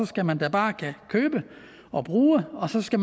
skal man bare kunne købe og bruge og så skal